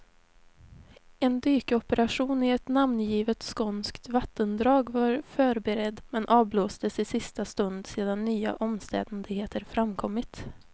En dykoperation i ett namngivet skånskt vattendrag var förberedd, men avblåstes i sista stund sedan nya omständigheter framkommit.